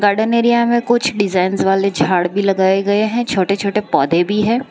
Garden area में कुछ designs वाले झाड़ भी लगाए गए हैं छोटे छोटे पौधे भी है।